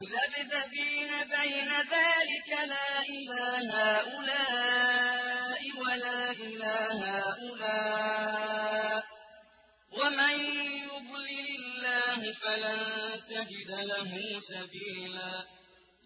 مُّذَبْذَبِينَ بَيْنَ ذَٰلِكَ لَا إِلَىٰ هَٰؤُلَاءِ وَلَا إِلَىٰ هَٰؤُلَاءِ ۚ وَمَن يُضْلِلِ اللَّهُ فَلَن تَجِدَ لَهُ سَبِيلًا